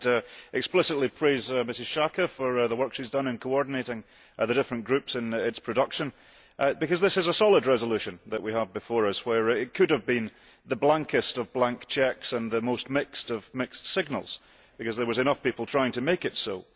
I would explicitly praise Mrs Schaake for the work she has done in coordinating the different groups in its production, because this is a solid resolution that we have before us, where it could have been the blankest of blank cheques and the most mixed of mixed signals, because there were enough people trying to make it so.